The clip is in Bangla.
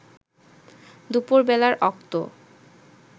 দুপুর বেলার অক্ত